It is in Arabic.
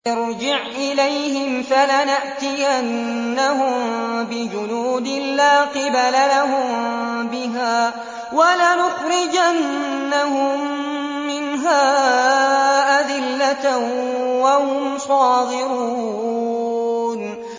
ارْجِعْ إِلَيْهِمْ فَلَنَأْتِيَنَّهُم بِجُنُودٍ لَّا قِبَلَ لَهُم بِهَا وَلَنُخْرِجَنَّهُم مِّنْهَا أَذِلَّةً وَهُمْ صَاغِرُونَ